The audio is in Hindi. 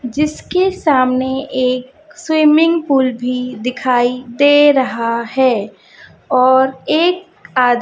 जिसके सामने एक स्विमिंग पूल भी दिखाई दे रहा है और एक आ--